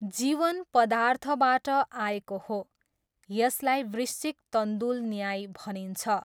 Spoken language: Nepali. जीवन पदार्थबाट आएको हो, यसलाई वृश्चिक तन्दुल न्याय भनिन्छ।